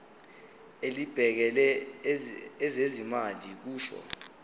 elibhekele ezezimali kusho